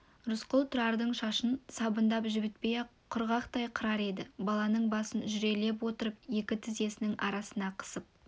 рысқұл тұрардың шашын сабындап жібітпей-ақ құрғақтай қырар еді баланың басын жүрелеп отырып екі тізесінің арасына қысып